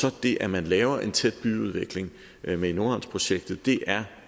er det at man laver en tæt byudvikling med nordhavnsprojektet